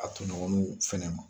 A tɔɲɔgɔnuw fɛnɛ ma.